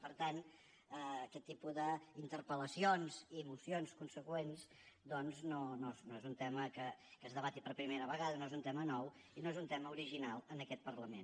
per tant aquest tipus d’interpel·lacions i mocions consegüents doncs no és un tema que es debati per primera vegada no és un tema nou i no és un tema original en aquest parlament